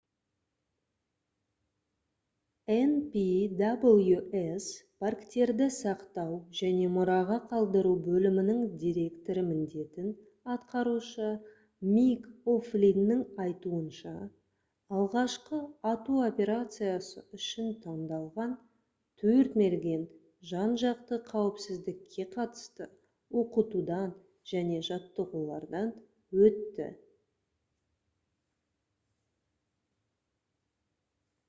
npws парктерді сақтау және мұраға қалдыру бөлімінің директоры міндетін атқарушы мик о'флиннің айтуынша алғашқы ату операциясы үшін таңдалған төрт мерген жан-жақты қауіпсіздікке қатысты оқытудан және жаттығулардан өтті